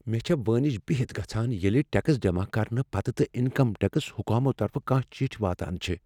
مےٚ چھےٚ وٲنج بہِتھ گژھان ییٚلہ ٹیکس جمع کرنہٕ پتہٕ تہ انکم ٹیکس حکامو طرفہٕ کانٛہہ چٹھۍ واتان چھےٚ۔